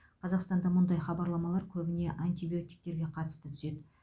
қазақстанда мұндай хабарламалар көбіне антибиотиктерге қатысты түседі